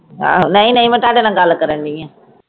ਆਹੋ ਨਹੀਂ ਨਹੀਂ ਮੈਂ ਤੁਹਾਡੇ ਨਾਲ ਗੱਲ ਕਰਨ ਦਾਈ ਆ